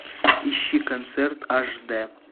ищи концерт аш дэ